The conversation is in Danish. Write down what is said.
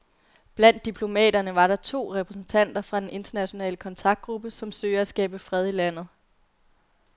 Blandt diplomaterne var to repræsentanter fra den internationale kontaktgruppe, som søger at skabe fred i landet.